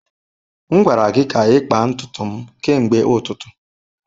M gwara gị ka ịkpa ntutu m kemgbe ụtụtụ.